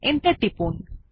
enter টিপুন